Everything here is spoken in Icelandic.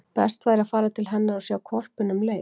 Best væri að fara til hennar og sjá hvolpinn um leið.